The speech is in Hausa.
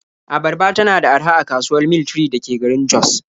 Abarba tana da araha a kasuwar Mil 3 da ke garin Jos.